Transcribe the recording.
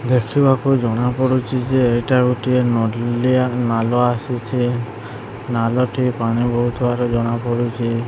ଦେଖିବାକୁ ଜଣା ପଡୁଚି ଯେ ଏଇଟା ଗୋଟିଏ ନଲିଆ ନାଲ ଆସୁଛି ନାଲ ଟି ପାଣି ବୋହୁଥୁବାର ଜଣା ପଡୁଚି।